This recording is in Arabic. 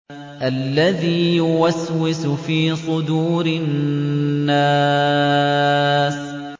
الَّذِي يُوَسْوِسُ فِي صُدُورِ النَّاسِ